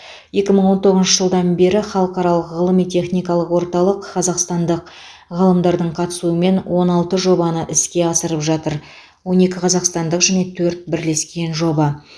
екі мың он тоғызыншы жылдан бері халықаралық ғылыми техникалық орталық қазақстандық ғалымдардың қатысуымен он алты жобаны іске асырып жатыр он екі қазақстандық және төрт бірлескен жоба